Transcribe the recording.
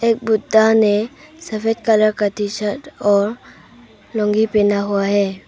एक बुड्ढा ने सफेद कलर का टी शर्ट और लूंगी पहना हुआ है।